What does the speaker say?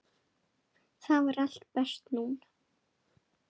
Þar var allt best núna.